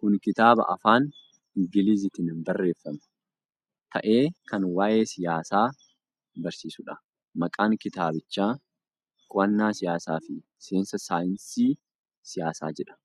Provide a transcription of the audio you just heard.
Kun kitaaba afaan Ingiliziitiin barreeffame ta'ee kan waa'ee siyaasaa barsiisuudha. Maqaan kitaabichaa "Qo'annaa siyaasaa fi seensa saayinsii siyaasaa" jedha.